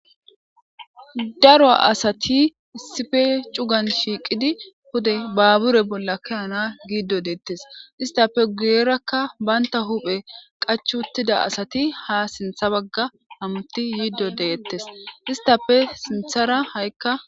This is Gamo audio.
Daro asati issi bolla shiqidi pude babure bolla ke'ana getes isitape guyeraka utida asati ha sinitha baga hamuti yido detes isitape sinithara ha'ika